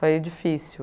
Foi difícil.